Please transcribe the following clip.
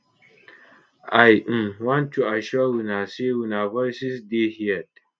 i um want to assure una say una voices dey heard